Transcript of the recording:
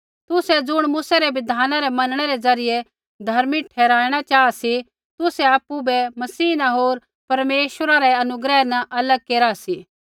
तुसै ज़ुण मूसै रै बिधाना रै मनणै रै ज़रियै धर्मी ठहराईणा चाहा सी तुसै आपु बै मसीह न होर परमेश्वरा रै अनुग्रह न अलग केरा सी